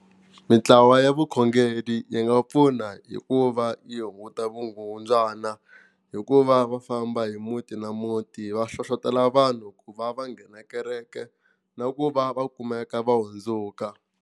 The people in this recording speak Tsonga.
Mintlawa ya vukhongeri yi nga pfuna hi ku va yi hunguta vukungundzwana hi ku va va famba hi muti na muti va hlohlotelo vanhu ku va va nghena kereke na ku va va kumeka va hundzuka.